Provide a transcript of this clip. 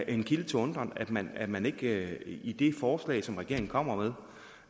en kilde til undren at man at man ikke i det forslag som regeringen kommer